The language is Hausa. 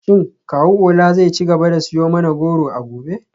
Shin kawu Ola zai ci gaba da siyo mana goro a gobe?